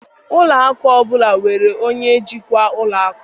Ụlọ akụ ọ bụla nwere onye njikwa ụlọ akụ